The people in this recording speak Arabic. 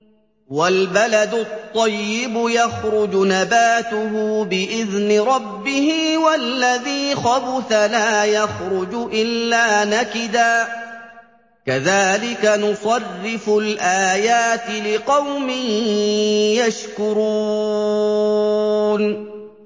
وَالْبَلَدُ الطَّيِّبُ يَخْرُجُ نَبَاتُهُ بِإِذْنِ رَبِّهِ ۖ وَالَّذِي خَبُثَ لَا يَخْرُجُ إِلَّا نَكِدًا ۚ كَذَٰلِكَ نُصَرِّفُ الْآيَاتِ لِقَوْمٍ يَشْكُرُونَ